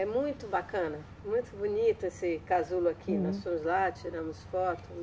É muito bacana, muito bonito esse casulo aqui nós fomos lá, tiramos foto.